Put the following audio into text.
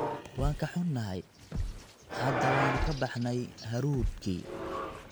Waan ka xunnahay, hadda waanu ka baxnay hadhuudhkii.